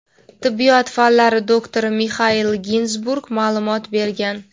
tibbiyot fanlari doktori Mixail Ginzburg ma’lumot bergan.